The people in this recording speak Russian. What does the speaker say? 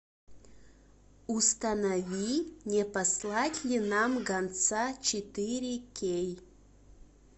установи не послать ли нам гонца четыре кей